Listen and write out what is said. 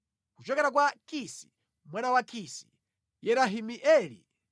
Kuchokera kwa Kisi: Mwana wa Kisi: Yerahimeeli.